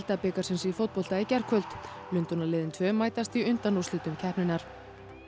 deildabikarsins í fótbolta í gærkvöld tvö mætast í undanúrslitum keppninnar